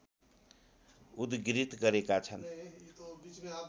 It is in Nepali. उद्धृत गरेका छन्